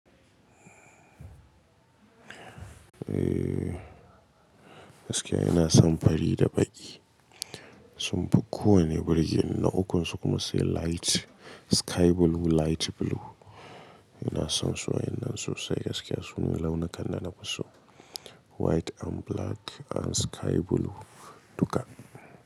Eh, gaskiya ina son fari da baƙi. Sun fi kowane birge ni, na ukun su kuma sai light sky blue, light blue. Ina son su wa yan nan su sai gaskiya sune launi kan nan dana fiso White and black and sky blue duka.